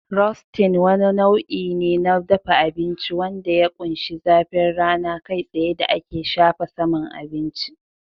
Roasting wani nau'i ne na dafa abinci wanda ya ƙunshi zafin rana kai tsaye da ake shafa saman abinci